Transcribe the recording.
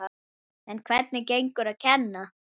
En hvernig gengur að kenna?